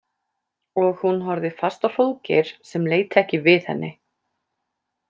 Og hún horfði fast á Hróðgeir sem leit ekki við henni.